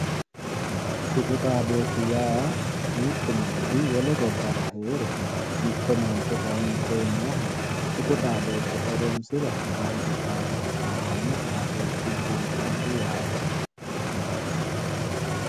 tuqu xaadooshshi yaa mittu manchi wole gobbara heere mitto mancho kayni koye nooha tuqu xaadoshshe horoonsire hakkaa hige hasaawanno xaadoshshu buusa yate